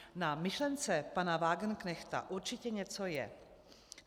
Na myšlence pana Wagenknechta určitě něco je.